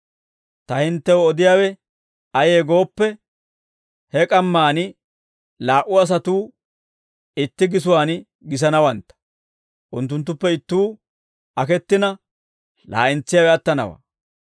Ta hinttew odiyaawe ayee gooppe, he k'ammaan laa"u asatuu itti gisuwaan gisanawantta; unttunttuppe ittuu akettina laa'entsiyaawe attanawaa.